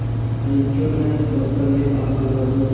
आयीक्यों न दफ्तर में आग लगा दूँ